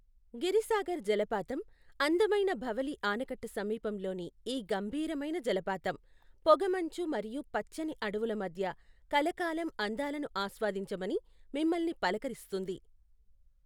గిరిసాగర్ జలపాతం, అందమైన భవలీ ఆనకట్ట సమీపంలోని ఈ గంభీరమైన జలపాతం, పొగమంచు మరియు పచ్చని అడవుల మధ్య కలకాలం అందాలను ఆస్వాదించమని మిమ్మల్ని పలకరిస్తుంది.